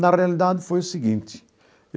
Na realidade, foi o seguinte.